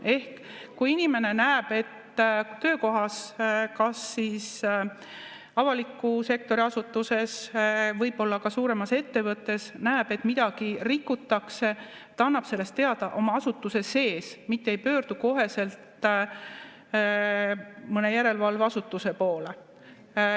Ehk kui inimene näeb, et töökohas, kas siis avaliku sektori asutuses või ka suuremas ettevõttes, midagi rikutakse, siis ta annab sellest teada oma asutuse sees, mitte ei pöördu koheselt mõne järelevalveasutuse poole.